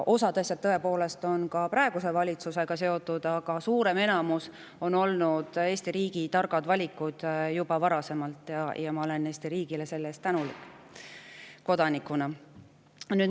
Osad asjad on tõepoolest ka praeguse valitsusega seotud, aga suurem enamus on olnud Eesti riigi juba varasemad targad valikud, ja ma olen Eesti riigile selle eest kodanikuna tänulik.